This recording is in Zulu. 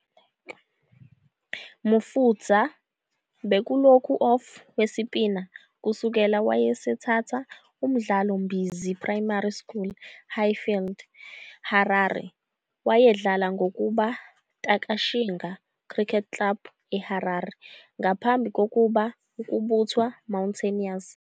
Mufudza bekulokhu off-wesipina kusukela Wayesethatha umdlalo Mbizi Primary School Highfield, Harare. Wayedlala ngokuba Takashinga Cricket Club eHarare ngaphambi kokuba ukubuthwa Mountaineers.